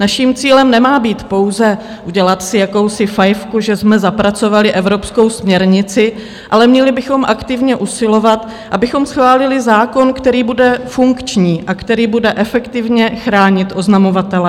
Naším cílem nemá být pouze udělat si jakousi fajfku, že jsme zapracovali evropskou směrnici, ale měli bychom aktivně usilovat, abychom schválili zákon, který bude funkční a který bude efektivně chránit oznamovatele.